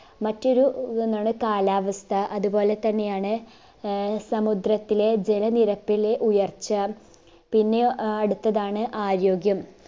മറ്റൊരു ഇതൊന്നാണ് കാലാവസ്ഥ അതുപോലെതന്നെയാണ് ആഹ് സമുദ്രത്തിലെ ജലനിരപ്പിലെ ഉയർച്ച പിന്നെ ആഹ് അടുത്തതാണ് ആരോഗ്യം